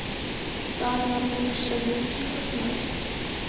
Það var nú svo sem enginn kostnaður.